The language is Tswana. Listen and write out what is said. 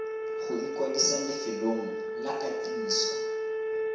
go ikwadisa lefelong la katiso